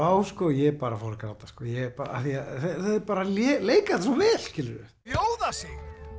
á og ég bara fór að gráta þau bara leika þetta svo vel skilurðu bjóða sig